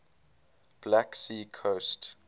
black sea coast